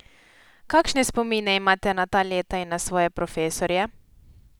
Kakšne spomine imate na ta leta in na svoje profesorje?